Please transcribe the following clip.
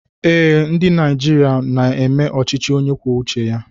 Ee, ndị Naịjirịa na-eme ọchịchị onye kwuo uche ya.